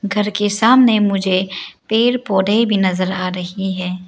घर के सामने मुझे पेड़ पौधे भी नजर आ रही हैं।